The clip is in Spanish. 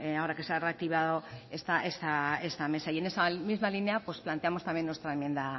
ahora que se ha reactivado esta mesa y en esa misma línea pues planteamos también nuestra enmienda